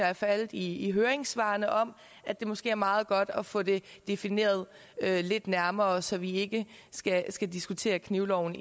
er faldet i høringssvarene om at det måske er meget godt at få det defineret lidt nærmere så vi ikke skal skal diskutere knivloven